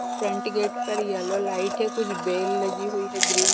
front gate पर yellow light है कुछ बेल लगी हुई है ग्रीन --